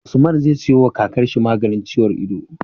Usman zai siyo wa kakar shi maganin ciwon ido